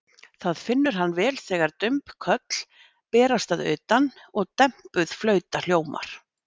Það finnur hann vel þegar dumb köll berast að utan og dempuð flauta hljómar.